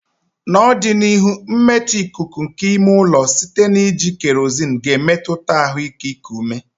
N'ọdịnihu, mmetọ ikuku nke ime ụlọ site na iji kerozinu ga-emetụta ahụike iku ume.